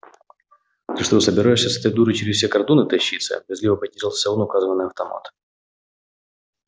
ты что собираешься с этой дурой через все кордоны тащиться брезгливо поинтересовался он указывая на автомат